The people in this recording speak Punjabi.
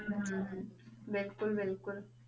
ਹਮ ਹਮ ਹਮ ਬਿਲਕੁਲ ਬਿਲਕੁਲ